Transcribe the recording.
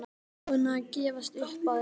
Ég er búinn að gefast upp á að reyna